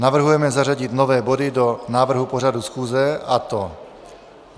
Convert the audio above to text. Navrhujeme zařadit nové body do návrhu pořadu schůze, a to